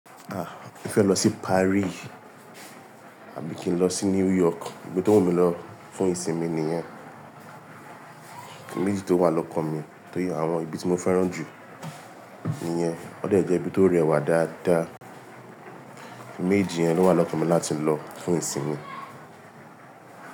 Ah! Mo fẹ́ lọ sí Paris àbí kí n lọ sí New York, ibi tó wù mí lọ fún ìsinmi nìyẹn. Mejì tó wà lọ́kàn mi tó yẹ àwọn ibi tí mo fẹ́ràn jù nìyẹn. Ó de jẹ́ ibi tó rẹwà dáadáa. Ẹ̀mejì yẹn ló wà lọ́kàn mi láti lọ fún ìsinmi.